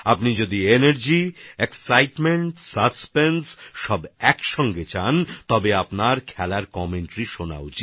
যদি আপনারা উৎসাহ উদ্দীপনা রোমাঞ্চ একসঙ্গে পেতে চান তাহলে খেলার ধারাভাষ্য শোনা দরকার